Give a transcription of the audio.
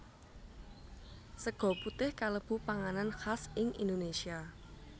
Sega putih kalebu panganan khas ing Indonesia